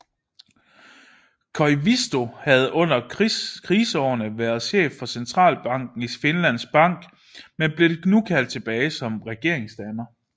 Koivisto havde under kriseårene været chef for centralbanken Finlands Bank men blev nu kaldt tilbage som regeringsdanner